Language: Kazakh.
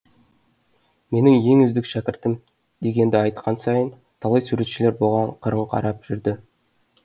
менің ең үздік шәкіртім дегенді айтқан сайын талай суретшілер бұған қырын қарап жүрді